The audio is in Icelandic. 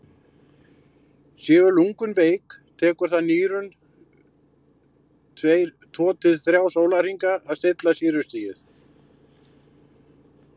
séu lungun veik tekur það nýrun tveir til þrír sólarhringa að stilla sýrustigið